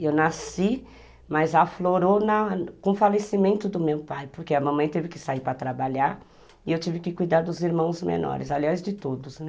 Eu nasci, mas aflorou na com o falecimento do meu pai, porque a mamãe teve que sair para trabalhar e eu tive que cuidar dos irmãos menores, aliás de todos, né?